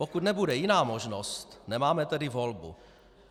Pokud nebude jiná možnost, nemáme tedy volbu.